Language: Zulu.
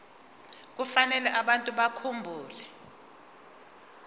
kufanele abantu bakhumbule